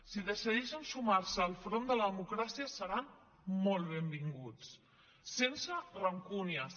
si decideixen sumar se al front de la democràcia seran molt benvinguts sense rancúnies